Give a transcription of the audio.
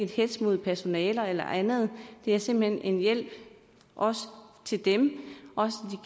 hetz mod personalet eller andet det er simpelt hen en hjælp også til dem